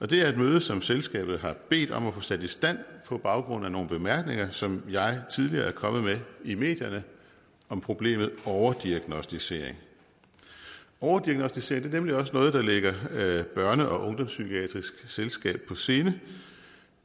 det er et møde som selskabet har bedt om at få sat i stand på baggrund af nogle bemærkninger som jeg tidligere er kommet med i medierne om problemet overdiagnosticering overdiagnosticering er nemlig også noget der ligger børne og ungdomspsykiatrisk selskab på sinde